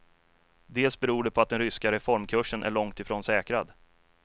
Dels beror det på att den ryska reformkursen är långt ifrån säkrad.